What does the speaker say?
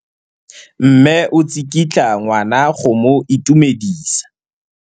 Mme o tsikitla ngwana go mo itumedisa.